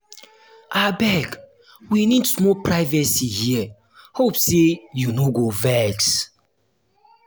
abeg we need small privacy here hope sey you no go vex.